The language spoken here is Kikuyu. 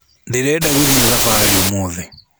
Ndĩrenda gũthiĩ thabarĩ ũmũthĩ